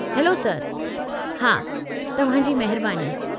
Hello, sir! हा, तव्हां जी महिरबानी।